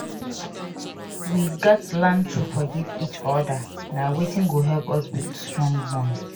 We gats learn to forgive each other; na wetin go help us build strong bond